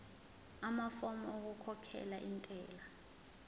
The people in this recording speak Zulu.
amafomu okukhokhela intela